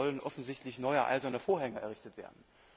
Da sollen offensichtlich neue Eiserne Vorhänge errichtet werden.